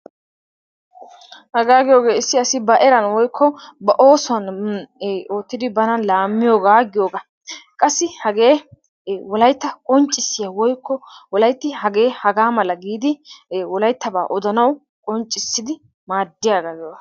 Hagaa giyogee issi asi ba eran woykko ba oosuwan ee oottidi bana laammiyogaa giyogaa. Qassi hagee ee wolaytta qonccissiya woykko wolaytti hagee hagaa mala giidi wolayttabaa odanawu qonccissidi maaddiyagaa giyogaa.